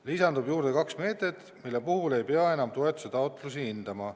Lisandub kaks meedet, mille puhul ei pea enam toetuse taotlusi hindama.